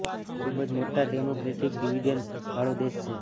એક ખુબ જ મોટા ડેમોક્રેટિક ડિવિડેન્ડ વાળો દેશ છે